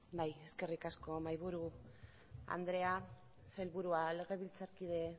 eskerrik asko mahaiburu andrea sailburuak legebiltzarkide